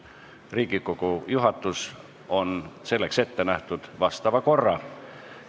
Riigikogu juhatus on selleks ette näinud vastava korra.